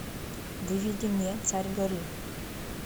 выведи мне царь горы